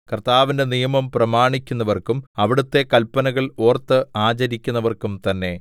കർത്താവിന്റെ നിയമം പ്രമാണിക്കുന്നവർക്കും അവിടുത്തെ കല്പനകൾ ഓർത്ത് ആചരിക്കുന്നവർക്കും തന്നെ